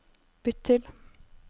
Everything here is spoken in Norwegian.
bytt til